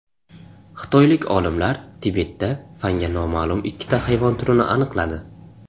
Xitoylik olimlar Tibetda fanga noma’lum ikkita hayvon turini aniqladi.